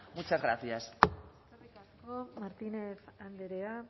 muchas gracias eskerrik asko martínez andrea